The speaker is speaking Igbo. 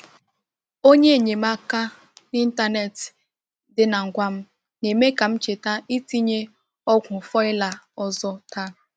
Onye enyemaka n’ịntanetị dị na ngwa m na-eme ka m cheta itinye ọgwụ foliar ọzọ taa.